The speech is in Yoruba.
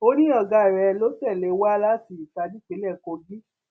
ó ní ọgá rẹ ló tẹlé wá láti itah nípínlẹ kogi